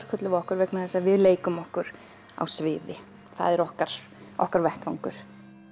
köllum við okkur vegna þess að við leikum okkur á sviði það er okkar okkar vettvangur